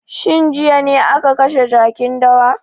Shin jiya ne aka kashe jakin dawa?